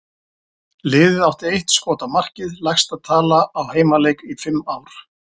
Liðið átti eitt skot á markið, lægsta tala á heimaleik í fimm ár.